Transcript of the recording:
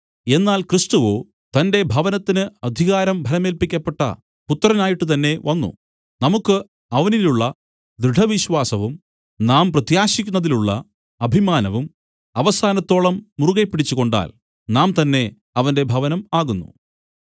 എന്നാൽ ക്രിസ്തുവോ തന്റെ ഭവനത്തിന് അധികാരം ഭരമേല്പിക്കപ്പെട്ട പുത്രനായിട്ട് തന്നേ വന്നു നമുക്ക് അവനിലുള്ള ദൃഢവിശ്വാസവും നാം പ്രത്യാശിക്കുന്നതിലുള്ള അഭിമാനവും അവസാനത്തോളം മുറുകെപ്പിടിച്ചുകൊണ്ടാൽ നാം തന്നേ അവന്റെ ഭവനം ആകുന്നു